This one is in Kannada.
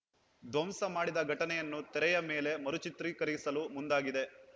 ಧ್ವಂಸ ಮಾಡಿದ ಘಟನೆಯನ್ನು ತೆರೆಯ ಮೇಲೆ ಮರುಚಿತ್ರೀಕರಿಸಲು ಮುಂದಾಗಿದೆ